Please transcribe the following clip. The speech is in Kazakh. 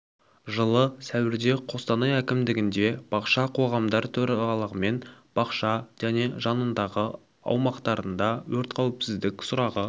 жылы сәуірде қостанай әкімдігінде бақша қоғамдар төрағаларымен бақша және оның жанындағы аумақтарында өрт қауіпсіздік сұрағы